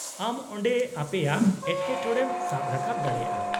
ᱟᱢ ᱚᱸᱰᱮ ᱟᱯᱮᱭᱟᱜ ᱮᱴᱠᱮᱴᱚᱬᱮᱢ ᱥᱟᱵ ᱨᱟᱠᱟᱵ ᱫᱟᱲᱮᱭᱟᱜᱼᱟ ᱾